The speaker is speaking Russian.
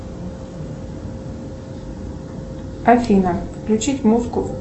афина включить музыку